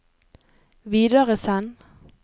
videresend